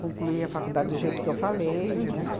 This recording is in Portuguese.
Concluí a faculdade do jeito que eu falei, né?